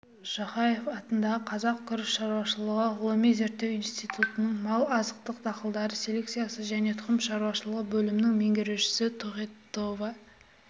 жақаев атындағы қазақ күріш шаруашылығы ғылыми зерттеу институтының мал азықтық дақылдар селекциясы және тұқым шаруашылығы бөлімінің меңгерушісі тохетова